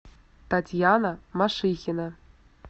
татьяна машихина